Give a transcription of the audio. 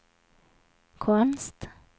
konst